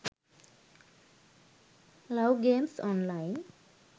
love games online